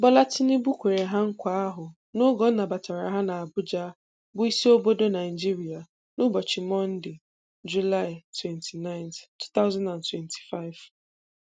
Bola Tinubu kwere ha nkwa ahụ n'oge ọ nabatara ha n'Abuja bụ isi obodo Naịjirịa n'ụbọchị Monde, Julaị 29, 2025.